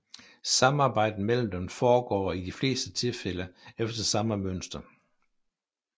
Samarbejdet mellem dem foregår i de fleste tilfælde efter samme mønster